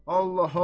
Allah, Allah!